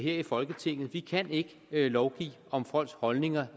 i folketinget vi kan ikke lovgive om folks holdninger